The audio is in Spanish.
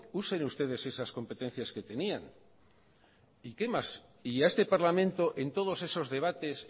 usen ustedes esas competencias que tenían y qué más y a este parlamento en todos esos debates